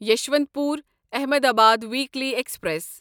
یسوانت پور Ahmedabad weekly express